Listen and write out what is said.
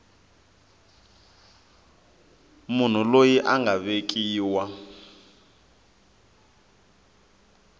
munhu loyi a nga vekiwa